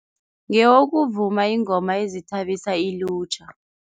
Ngeyokuvuma iingoma ezithabisa ilutjha.